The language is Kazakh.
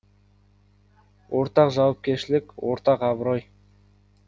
ортақ жауапкершілік ортақ абырой